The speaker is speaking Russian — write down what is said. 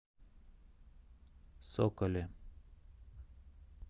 соколе